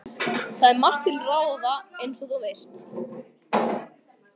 Það er margt til ráða, eins og þú veist